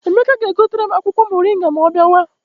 Emeka ga-egotere m akwụkwọ moringa ma ọ bịawa.